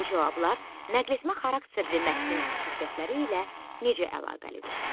Bu cavablar nəqletmə xarakterli mətnin xüsusiyyətləri ilə necə əlaqəlidir?